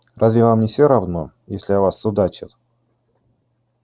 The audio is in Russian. разве вам не всё равно если о вас судачат